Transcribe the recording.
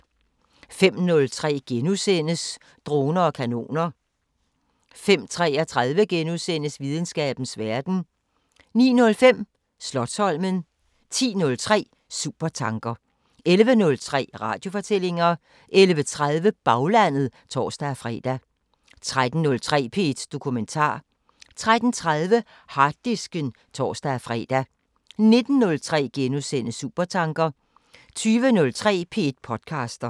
05:03: Droner og kanoner * 05:33: Videnskabens Verden * 09:05: Slotsholmen 10:03: Supertanker 11:03: Radiofortællinger 11:30: Baglandet (tor-fre) 13:03: P1 Dokumentar 13:30: Harddisken (tor-fre) 19:03: Supertanker * 20:03: P1 podcaster